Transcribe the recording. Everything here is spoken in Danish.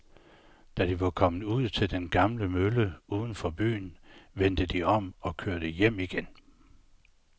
Da de var kommet ud til den gamle mølle uden for byen, vendte de om og kørte hjem igen.